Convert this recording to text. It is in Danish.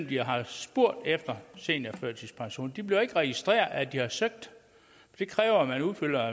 de har spurgte efter seniorførtidspension det bliver ikke registreret at de har søgt det kræver at man udfylder